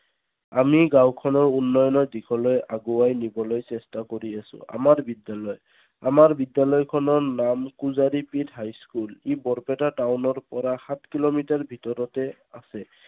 আমি গাঁওখনৰ উন্নয়নৰ দিশলৈ আগুৱাই নিবলৈ চেষ্টা কৰি আছো। আমাৰ বিদ্যালয় আমাৰ বিদ্যালয় খনৰ নাম high school ই বৰপেটা টাউনৰ পৰা সাত কিলোমিটাৰ ভিতৰতে আছে।